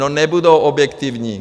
No, nebudou objektivní!